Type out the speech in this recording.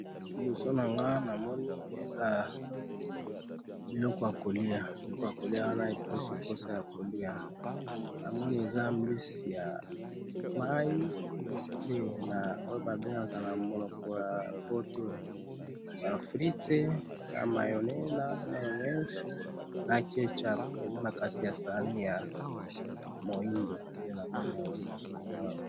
NNa moni biloko ya kolia na kati ya sani, ba mbisi ya mai na ba fruites ,mayonaise na kech up.